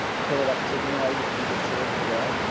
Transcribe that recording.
ফেলে রাখছে দিয়ে অই বিক্রি করছে বুঝলা